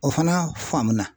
O fana faamu na.